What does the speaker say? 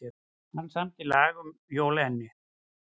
Hver samdi lagið um Jolene?